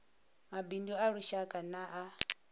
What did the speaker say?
mabindu a lushaka na a